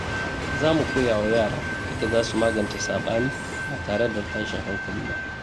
Za mu koya wa yara yadda za su magance sabani ba tare da tashin hankali ba.